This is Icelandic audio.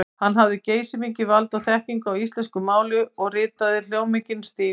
Hann hafði geysimikið vald og þekkingu á íslensku máli og ritaði hljómmikinn stíl.